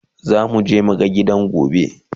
zamu je mu ga gidan gobe